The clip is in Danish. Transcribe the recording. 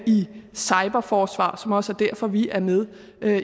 i cyberforsvar som også er derfor vi er med